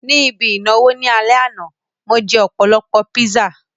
Ní ibi ìnáwó ní alẹ́ àná, mo jẹ́ ọ̀pọ̀lọpọ̀ píṣà